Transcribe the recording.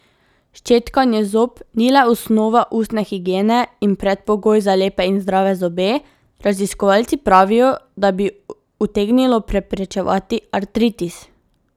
Ščetkanje zob ni le osnova ustne higiene in predpogoj za lepe in zdrave zobe, raziskovalci pravijo, da bi utegnilo preprečevati artritis.